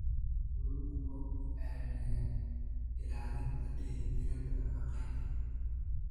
Kalluunku waxa uu caawiyaa ilaalinta dheelitirnaanta nafaqeynta.